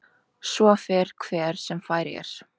Svo fer hver sem fær er.